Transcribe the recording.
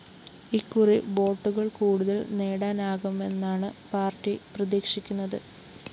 ഇക്കുറി വോട്ടുകള്‍ കൂടുതല്‍ നേടാനാകുമെന്നാണ് പാര്‍ട്ടി പ്രതീക്ഷിക്കുന്നത്